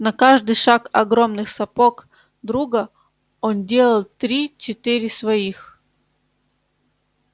на каждый шаг огромных сапог друга он делал три-четыре своих